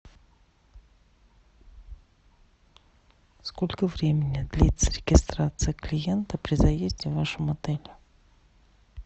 сколько времени длится регистрация клиента при заезде в вашем отеле